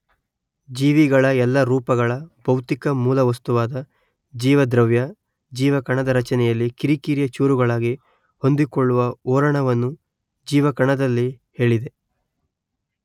ಜೀವಿಗಳ ಎಲ್ಲ ರೂಪಗಳ ಭೌತಿಕ ಮೂಲ ವಸ್ತುವಾದ ಜೀವದ್ರವ್ಯ ಜೀವಕಣದ ರಚನೆಯಲ್ಲಿ ಕಿರಿಕಿರಿಯ ಚೂರುಗಳಾಗಿ ಹೊಂದಿಕೊಳ್ಳುವ ಓರಣವನ್ನು ಜೀವಕಣದಲ್ಲಿ ಹೇಳಿದೆ